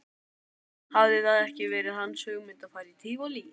Hafði það ekki verið hans hugmynd að fara í Tívolí?